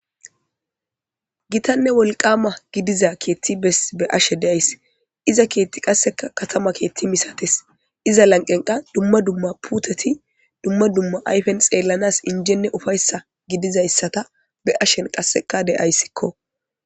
Gittanee woliqqama gidiza kethi be'ashe dayis iza kethi qaseka katama kethi misates iza laniqenika duma duma puteti duma duma ayipe xelanas injenee ufaysa gizaysata qaseka be'ashe dayisko